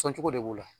Sɔncogo de b'o la